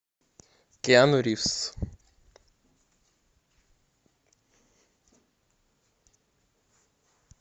киану ривз